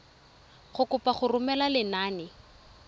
go kopa go romela lenane